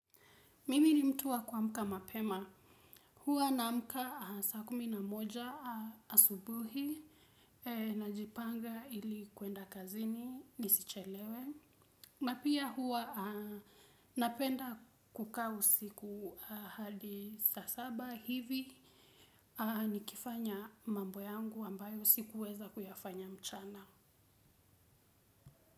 Mimi ni mtu wa kuamka mapema. Hua naamka saa kumi na moja asubuhi najipanga ili kuenda kazini nisichelewe. Napia hua napenda kukaa usiku hadi saa saba hivi nikifanya mambo yangu ambayo sikuweza kuyafanya mchana.